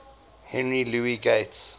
henry louis gates